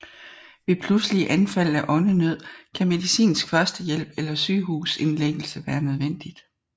Ved pludselige anfald af åndenød kan medicinsk førstehjælp eller sygehusindlæggelse være nødvendigt